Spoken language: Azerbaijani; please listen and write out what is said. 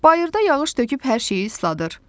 Bayırda yağış töküb hər şeyi isladır.